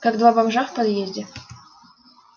как два бомжа в подъезде